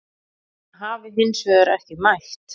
Hann hafi hins vegar ekki mætt